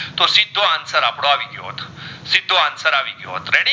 આવી ગયો